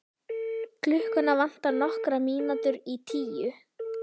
Klukkuna vantar nokkrar mínútur í tíu.